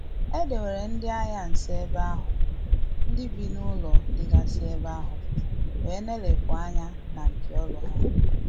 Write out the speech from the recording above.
Edewere ndị agha nso ebe ahu, ndị bi n’ụlọ digasi ebe ahu wee neelepu anya n’ npio olu ha.